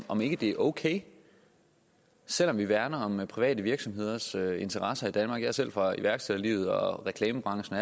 om ikke det er okay selv om vi værner om private virksomheders interesser i danmark jeg er selv fra iværksætterlivet og reklamebranchen